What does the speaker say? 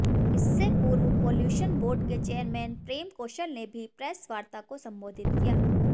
इससे पूर्व pollution board के चेयरमैन प्रेम कौशल ने भी प्रेसवार्ता को संबोधित किया